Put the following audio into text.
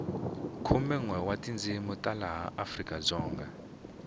khumenwe wa tindzini ta laha afrikadzonga